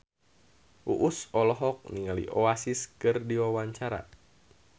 Uus olohok ningali Oasis keur diwawancara